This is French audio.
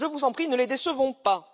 Je vous en prie, ne les décevons pas.